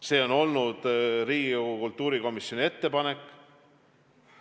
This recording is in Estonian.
See on olnud Riigikogu kultuurikomisjoni ettepanek.